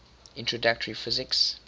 introductory physics